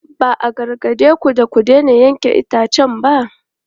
Ba a gargade ku da ku daina yanke itacen ba?